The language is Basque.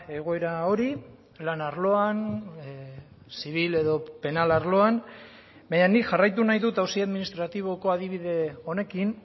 egoera hori lan arloan zibil edo penal arloan baina nik jarraitu nahi dut auzi administratiboko adibide honekin